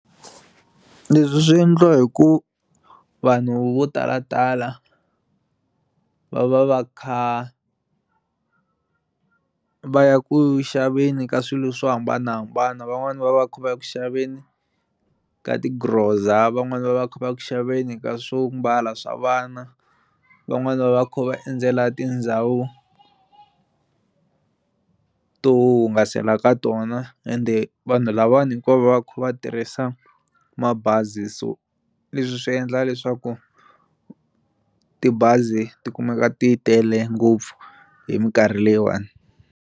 Leswi swi endliwa hi ku vanhu vo tala tala va va va kha va ya ku xaveni ka swilo swo hambanahambana van'wani va va kha va ya ku xaveni ka ti-grocer-za van'wani va va kha va kuxaveni ka swombala swa vana van'wani va va kha va endzela tindhawu to hungasela eka tona ende vanhu lava vanhu hinkwavo va kha va tirhisa mabazi so leswi swi endla leswaku tibazi ti kumeka ti tele ngopfu hi minkarhi leyiwani.